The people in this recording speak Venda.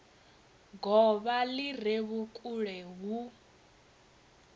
govha li re vhukule hu